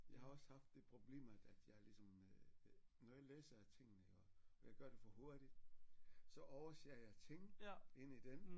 Jeg har også haft det problem at at jeg ligesom øh øh når jeg læser tingene iggå og jeg gør det for hurtigt så overser jeg ting inde i den